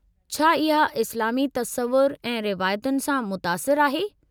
छा इहा इस्लामी तसवुर ऐं रिवायतुनि सां मुतासिरु आहे?